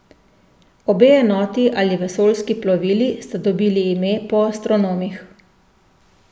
Obe enoti ali vesoljski plovili sta dobili ime po astronomih.